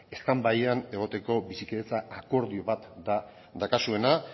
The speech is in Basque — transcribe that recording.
standbyean egoteko bizikidetza akordio bat da daukazuena